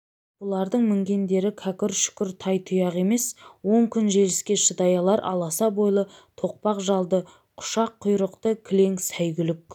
бұлардың мінгендері кәкір-шүкір тай-тұяқ емес он күн желіске шыдай алар аласа бойлы тоқпақ жалды құшақ құйрықты кілең сайгүлік